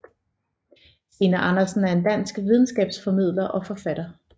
Stine Andersen er en dansk videnskabsformidler og forfatter